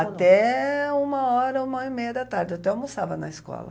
Até uma hora, uma e meia da tarde, até almoçava na escola.